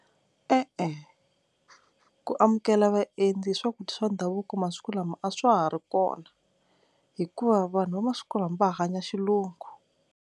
E-e ku amukela vaendzi swakudya swa ndhavuko masiku lama a swa ha ri kona hikuva vanhu va masiku lama va hanya xilungu.